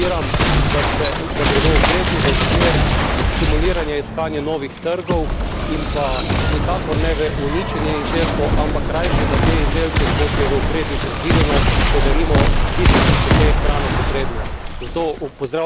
Sam zelo podpiram, da gredo ukrepi v smer stimuliranja iskanja novih trgov in pa nikakor ne v uničenje izdelkov, ampak rajši, da te izdelke, kot je v ukrepih predvideno, podarimo tistim, ki so te hrane potrebni.